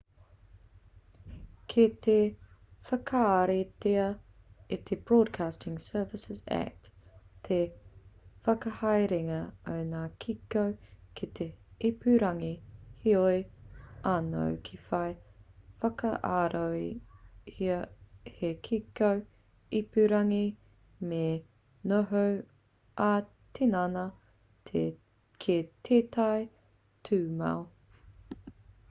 kei te whakaritea e te broadcasting services act te whakahaerenga o ngā kiko ki te ipurangi heoi anō kia whai whakaarohia hei kiko ipurangi me noho ā-tinana ki tētahi tūmau